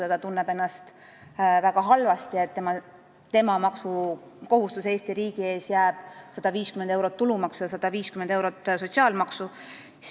Ehk ta tunneb ennast väga halvasti, kui tema maksukohustus Eesti riigi ees jääb selliseks – 150 eurot tulumaksu ja 150 eurot sotsiaalmaksu.